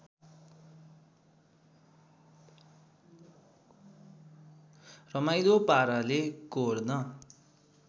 रमाईलो पाराले कोर्न